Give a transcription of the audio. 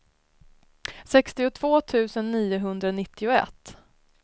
sextiotvå tusen niohundranittioett